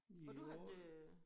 Jo